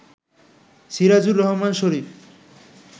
Sirajur Rahman Sharif